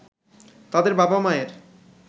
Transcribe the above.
তাদের বাবা-মায়ের